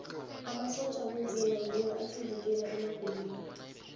amasotja womzimba ngiwo asivikela emagulweni